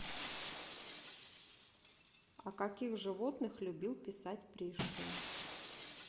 о каких животных любил писать пришвин